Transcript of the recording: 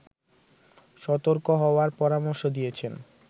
সতর্ক হওয়ার পরামর্শ দিয়েছেন